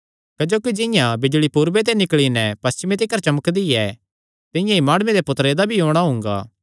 क्जोकि जिंआं बिजल़ी पूरब ते निकल़ी नैं पशिचमे तिकर चमकदी ऐ तिंआं ई माणुये दे पुत्तरे दा भी औणां हुंगा